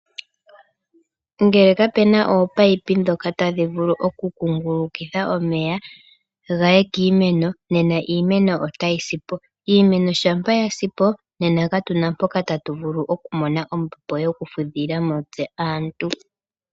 Ngele kapena ominino dhoka tadhi vulu oku kungulukitha omeya gaye kiimeno nena iimeno otayi sipo. Iimeno shampa yasipo nena katuna mpoka tatu vulu oku mona ombepo yoku fudhila mo tse aantu.